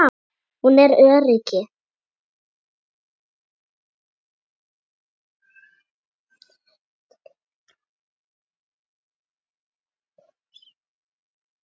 Hún er öryrki.